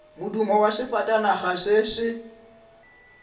modumo wa sefatanaga se se